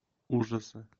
ужасы